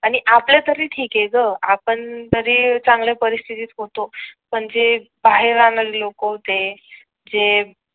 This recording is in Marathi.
आणि आपल् तरी ठीक आहे ग आपण तरी चांगल्या परिस्तिथीत होतो पण जे बाहेर राहणारे लोक होते ते